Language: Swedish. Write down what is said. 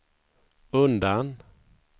undan